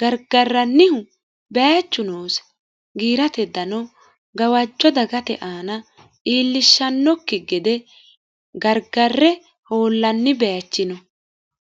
gargarrannihu baechu noose giirate dano gawajjo dagate aana iillishshannokki gede gargarre hoollanni baechi no